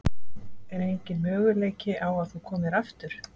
Er enginn möguleiki á að þú komir aftur?